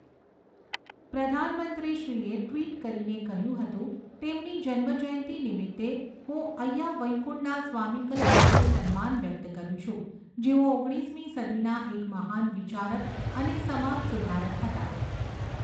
પ્રધાનમંત્રી શ્રીએ ટ્વીટ કરીને કહ્યું હતું, તેમની જન્મ જયંતી નિમિતે, હું અય્યા વૈઈકુંડા સ્વામીકલ પ્રત્યે સન્માન વ્યક્ત કરૂં છું, જેઓ ઓગણીસમી સદીના એક મહાન વિચારક અને સમાજ સુધારક હતા.